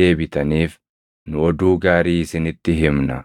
deebitaniif nu oduu gaarii isinitti himna.